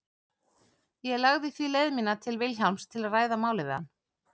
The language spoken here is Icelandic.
Ég lagði því leið mína til Vilhjálms til að ræða málið við hann.